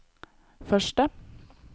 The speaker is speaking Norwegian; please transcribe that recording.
første